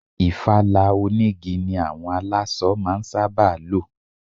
Ìfala onigi ni àwọn aláṣọ máa ń sábà lo.